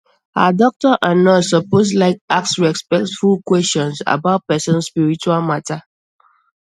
ah doctor and nurse suppose like ask respectful questions about person spiritual matter